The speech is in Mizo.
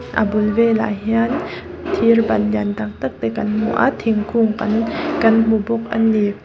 a bul velah hian thir ban lian tak tak te kan hmu a thingkung kan kan hmu bawk a ni.